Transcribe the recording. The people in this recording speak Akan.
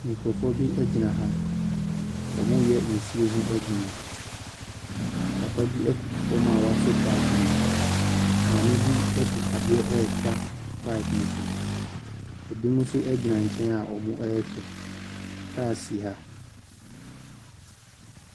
Nkorɔfoɔ bi egyina ha ɔmo yɛ nsuo ho edwuma papa bi ɛkoto fɔm a wɔwɔ paap no mu maame bi ɛde adeɛ etwa paap no so ebi mo nso egyina nkyɛn a ɔmo ɛhwɛ kars si ha.